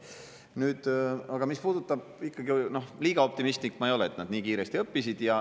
Nüüd aga, mis puudutab – ikkagi, liiga optimistlik ma ei ole, et nad nii kiiresti õppisid.